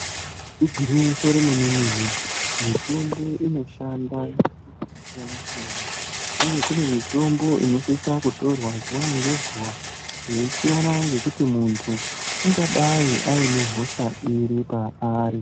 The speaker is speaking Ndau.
Igwinyiso remene mene mitombo inoshanda zvakasiyana siyana uye kune mitombo inosisa kutorwa zuva ngezuva zveisiyana ngekuti muntu ukadai ane hosha iri paari.